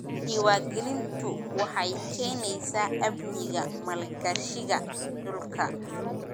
Diiwaangelintu waxay keenaysaa amniga maalgashiga dhulka.